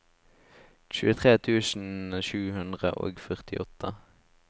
tjuetre tusen sju hundre og førtiåtte